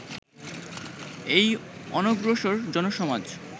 এই অনগ্রসর জনসমাজ